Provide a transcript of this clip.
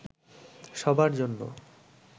সবার জন্য